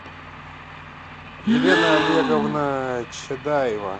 елена олеговна чадаева